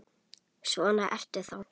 Svona ertu þá!